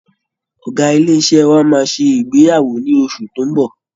Ọ̀gá ilé iṣẹ́ wa máa ṣe ìgbéyàwó ní oṣù tó ń bọ̀